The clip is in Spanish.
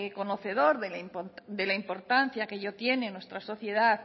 conocedor de la importancia que ello tiene en nuestra sociedad